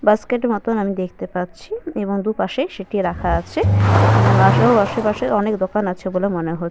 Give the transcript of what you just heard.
Basket মত আমি দেখতে পাচ্ছি এবং দু পাশে সেটি রাখা আছে। এবং আশে ও আশেপাশে অনেক দোকান আছে বলে মনে হ--